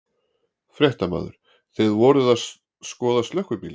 Fréttamaður: Þið voruð að skoða slökkvibílinn?